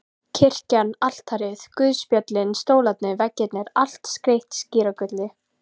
Kirkjan, altarið, guðspjöllin, stólarnir, veggirnir- allt skreytt skíragulli.